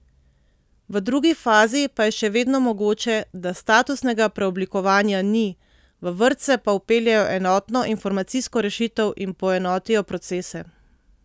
V drugi fazi pa je še vedno mogoče, da statusnega preoblikovanja ni, v vrtce pa vpeljejo enotno informacijsko rešitev in poenotijo procese.